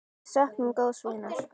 Við söknum góðs vinar.